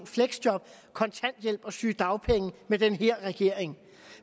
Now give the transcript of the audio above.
fleksjob kontanthjælp og sygedagpenge med den her regering